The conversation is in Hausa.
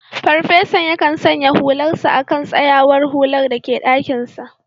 Farfesan yakan sanya hularsa a kan tsayawar hular da ke dakinsa